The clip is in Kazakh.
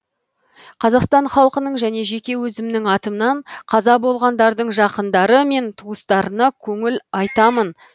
қазақстан халқының және жеке өзімнің атымнан қаза болғандардың жақындары мен туыстарыны көңіл айтамын